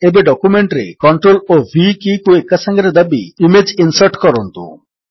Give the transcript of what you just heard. ଏବେ ଡକ୍ୟୁମେଣ୍ଟରେ CTRL ଓ V କୀକୁ ଏକାସାଙ୍ଗରେ ଦାବି ଇମେଜ୍ ଇନ୍ସର୍ଟ କରନ୍ତୁ